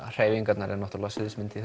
hreyfingarnar eru náttúrulega sviðsmynd í